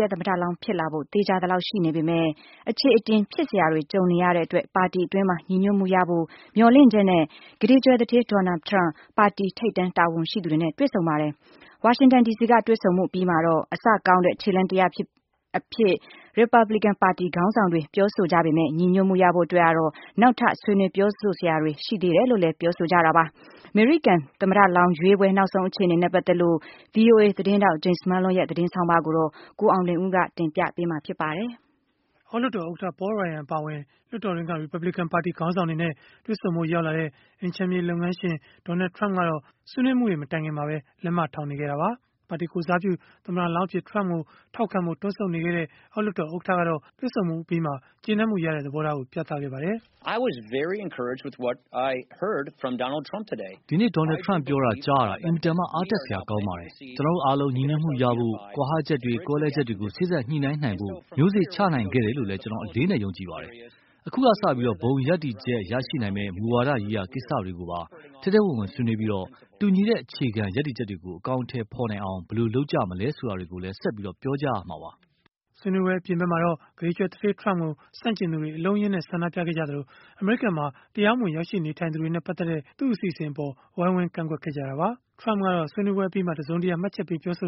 ရဲ့ သမ္မတလောင်း ဖြစ်လာဖို့ သေချာသလောက်ရှိနေပေမဲ့ အခြေအတင်ဖြစ်စရာတွေ ကြုံနေရတဲ့အတွက် ပါတီတွင်းမှာ ညီညွတ်မှုရဖို့ မျှော်လင့်ချက်နဲ့ ကုဋေကြွယ်သူဌေး Donald Trump ပါတီထိပ်တန်း တာဝန်ရှိသူတွေနဲ့ တွေ့ဆုံပါတယ်။ ဝါရှင်တန်ဒီစီက တွေ့ဆုံမှုအပြီးမှာတော့ အစကောင်းတဲ့ ခြေလှမ်းတရပ်အဖြစ် ရီပတ်ဘလစ်ကန်ပါတီ ခေါင်းဆောင်တွေ ပြောဆိုခဲ့ကြပေမဲ့ ညီညွတ်မှုရဖို့ အတွက်ကတော့ နောက်ထပ် ဆွေးနွေးပြောဆိုစရာတွေ ရှိသေးတယ်လို့လည်း ပြောဆိုခဲ့ကြတာပါ။ အမေရိကန် သမ္မတလောင်းရွေးပွဲ နောက်ဆုံး အခြေအနေနဲ့ ပတ်သက်လို့ ဗွီအိုအေသတင်းထောက် Jim Malone ရဲ့ သတင်းဆောင်းပါးကိုတော့ ကိုအောင်လွင်ဦး က တင်ပြထားပါတယ်။ အောက်လွှတ်တော်ဥက္ကဋ္ဌ Paul Ryan အပါအဝင်၊ လွှတ်တော်တွင်းက ရီပတ်ဘလစ်ကန်ပါတီ ခေါင်းဆောင်တွေနဲ့ တွေ့ဆုံဖို့ ရောက်လာတဲ့ အိမ်ခြံမြေ လုပ်ငန်းရှင် Donald Trump ကတော့ ဆွေးနွေးမှုတွေ မတိုင်ခင်မှာပဲ လက်မထောင် နေခဲ့တာပါ။ ပါတီကိုယ်စားပြု သမ္မတလောင်းအဖြစ် Trump ကိုထောက်ခံဖို့ တွန့်ဆုတ်နေတဲ့ အောက်လွှတ်တော်ဥက္ကဋ္ဌကတော့ တွေ့ဆုံမှုအပြီးမှာပဲ ကျေနပ်မှုရတဲ့ သဘောထားကို ပြသခဲ့ပါတယ်။ “ဒီနေ့ Donald Trump ပြောတာ ကြားရတာ အင်မတန်မှ အားတက်စရာ ကောင်းပါတယ်။ ကျနော်တို့အားလုံး ညီညွတ်မှုရဖို့၊ ကွာဟချက်တွေ၊ ကွဲလွဲချက်တွေကို စေ့စပ်ညှိနှိုင်းနိုင်ဖို့ မျိုးစေ့ချနိုင်ခဲ့တယ်လို့လည်း ကျနော် အလေးအနက် ယုံကြည်ပါတယ်။ အခုကစပြီး ဘုံရပ်တည်ချက် ရရှိနိုင်မယ့် မူဝါဒရေးရာ ကိစ္စတွေကိုပါ ထဲထဲဝင်ဝင် ဆွေးနွေးပြီး၊ တူညီတဲ့ အခြေခံ ရပ်တည်ချက်တွေကို အကောင်အထည် ဖော်နိုင်အောင် ဘယ်လိုလုပ်ကြမလဲ ဆိုတာတွေကိုလည်း ဆက်ပြီး ပြောကြရမှာပါ။” ဆွေးနွေးပွဲ အပြင်ဖက်မှာတော့ ကုဋေကြွယ်သူဋ္ဌေး Trump ကို ဆန့်ကျင်သူတွေ အလုံးအရင်းနဲ့ ဆန္ဒပြခဲ့ပြီး၊ အမေရိကန်မှာ တရားမဝင် ရောက်ရှိနေထိုင်သူတွေနဲ့ ပတ်သက်တဲ့ သူ့အစီအစဉ်နဲ့ ပတ်သက်လို့လည်း ဝိုင်းဝန်းကန့်ကွက်ခဲ့ကြတာပါ။ ဆွေးနွေးပွဲအပြီး Trump ကတော့ တစုံတရာ မှတ်ချက်မပေးခဲ့သ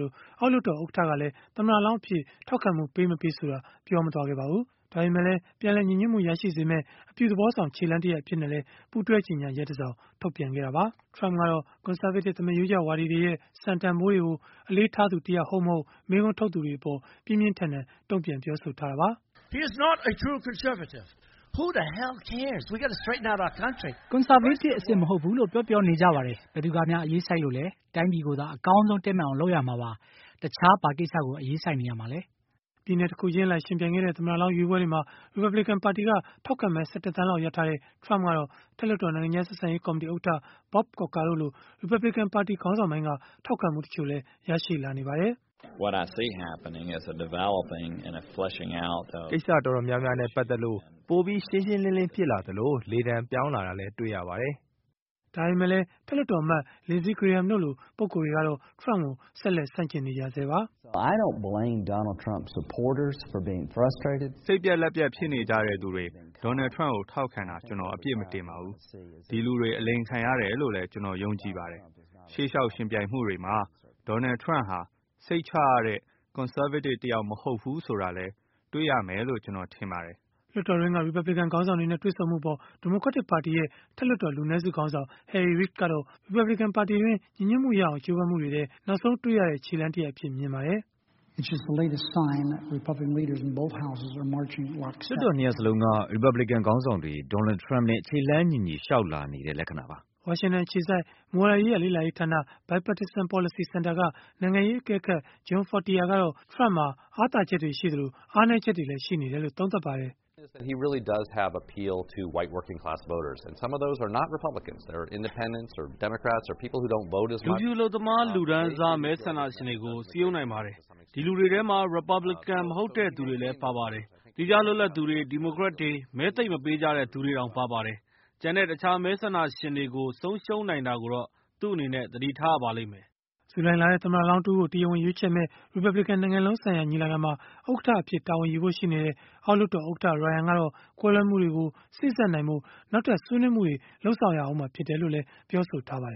လို၊ အောက်လွှတ်တော် ဥက္ကဋ္ဌကလည်း သမ္မတလောင်းအဖြစ် ထောက်ခံမှု ပေး-မပေး ဆိုတာ မပြောခဲ့ပါဘူး။ ဒါပေမဲ့လည်း ပြန်လည် ညီညွတ်မှုရရှိစေမယ့် အပြုသဘောဆောင် ခြေလှမ်းတရပ် အဖြစ်နဲ့လည်း ပူးတွဲကြေညာချက်တစောင် ထုတ်ပြန်ခဲ့တာပါ။ Trump ကတော့ Conservative သမားရိုးကျဝါဒီတွေရဲ့ စံတန်ဘိုးတွေကို အလေးထားသူတယောက် ဟုတ်-မဟုတ် မေးခွန်းထုတ်သူတွေကို ပြင်းပြင်းထန်ထန် တုန့်ပြန်ပြောဆိုထားတာပါ။ “ကွန်ဆာဗေးတစ် အစစ်မဟုတ်ဘူးလို့ ပြောပြောနေကြပါတယ်။ ဘယ်သူကများ အရေးစိုက်လို့လဲ။ တိုင်းပြည်ကိုသာ အရင်ဆုံး တည့်မတ်အောင် လုပ်ရမှာပါ။ တခြား ဘာကိစ္စကို အရေးစိုက်နေရမှာလဲ။” ပြည်နယ်တခုချင်းအလိုက် ယှဉ်ပြိုင်ခဲ့တဲ့ သမ္မတလောင်း ရွေးပွဲတွေမှာ ရီပတ်ဘလစ်ကန် ပါတီက ထောက်ခံမဲ ၁၁ သန်းလောက် ရထားတဲ့ Trump ကတော့၊ အထက်လွှတ်တော် နိုင်ငံခြားဆက်ဆံရေး ကော်မတီဥက္ကဋ္ဌ Bob Corker တို့လို ရီပတ်ဘလစ်ကန်ပါတီ ခေါင်းဆောင်ပိုင်းက ထောက်ခံမှုတချို့လည်း ရရှိလာနေပါတယ်။ “ကိစ္စတော်တော်များများနဲ့ ပတ်သက်လို့ ပိုပြီးရှင်းရှင်းလင်းလင်း ဖြစ်လာသလို၊ လေသံပြောင်းလာတာလည်း တွေ့ရပါတယ်။” ဒါပေမဲ့လည်း အထက်လွှတ်တော်အမတ် Lindsey Graham တို့လို ပုဂ္ဂိုလ်တွေကတော့ Trump ကို ဆက်လက် ဆန့်ကျင်နေကြဆဲပါ။ “စိတ်ပျက်လက်ပျက် ဖြစ်နေကြတဲ့သူတွေ Donald Trump ကို ထောက်ခံသူတွေအပေါ် ကျနော် အပြစ်မတင်ပါဘူး။ ဒီလူတွေ အလိမ်ခံရတယ်လို့လည်း ကျနော် ယုံကြည်ပါတယ်။ ရှေ့လျှောက် ယှဉ်ပြိုင်မှုတွေမှာ Donald Trump ဟာ၊ စိတ်ချရတဲ့ ကွန်ဆာဗေးတစ်တယောက် မဟုတ်ဘူးဆိုတာလည်း တွေ့ရလိမ့်မယ်လို့လည်း ထင်ပါတယ်။” လွှတ်တော်တွင်းက ရီပတ်ဘလစ်ကန် ခေါင်းဆောင်တွေနဲ့ တွေ့ဆုံမှုအပေါ် ဒီမိုကရက်တစ်ပါတီရဲ့ အထက်လွှတ်တော် လူနည်းစုခေါင်းဆောင် Harry Reid ကတော့ ပါတီတွင်းညီညွတ်မှုရအောင် ကြိုးပမ်းမှုတွေထဲမှာ နောက်ဆုံး တွေ့ရတဲ့ ခြေလှမ်းတရပ်အဖြစ် မြင်ပါတယ်။ “လွှတ်တော် ၂ ရပ်စလုံးက ရီပတ်ဘလစ်ကန် ခေါင်းဆောင်တွေ Donald Trump နဲ့ ခြေလှမ်းညီညီ လျှောက်လာနေတဲ့ လက္ခဏာပါ။” ဝါရှင်တန်အခြေစိုက် မူဝါဒရေးရာ လေ့လာရေးဌာန Bipartisan Policy Center က နိုင်ငံရေးအကဲခတ် John Fortier ကတော့ Trump မှာ အားနည်းချက်တွေရှိသလို၊ အားသာချက်တွေလည်း ရှိနေတယ်လို့ သုံးသပ်ပါတယ်။ “လူဖြူအလုပ်သမား လူတန်းစား မဲဆန္ဒရှင်တွေကို စည်းရုံးနိုင်ပါတယ်။ ဒီလူတွေထဲမှာ ရီပတ်ဘလစ်ကန် မဟုတ်တဲ့သူတွေလည်း ပါပါတယ်။ သီးခြားလွတ်လပ်သူတွေ၊ ဒီမိုကရက်တွေ၊ မဲသိပ်မပေးကြတဲ့ သူတွေတောင် ပါပါတယ်။ ကျန်တဲ့ တခြားမဲဆန္ဒရှင်တွေကို ဆုံးရှုံးနိုင်တာကိုတော့ သူ့အနေနဲ့ သတိထားရပါလိမ့်မယ်။” ဇူလိုင်လထဲ သမ္မတလောင်း တဦးကို တရားဝင်ရွေးချယ်မယ့် ရီပတ်ဘလစ်ကန် နိုင်ငံလုံးဆိုင်ရာ ညီလာခံမှာ ဥက္ကဋ္ဌအဖြစ် တာဝန်ယူဖို့ ရှိနေတဲ့ အောက်လွှတ်တော်ဥက္ကဋ္ဌ Ryan ကတော့ ကွဲလွဲမှုတွေကို စေ့စပ်နိုင်ဖို့ နောက်ထပ် ဆွေးနွေးမှုတွေ လုပ်ဆောင်မှာ ဖြစ်တယ်လို့လည်း ပြောဆိုထားပါတယ်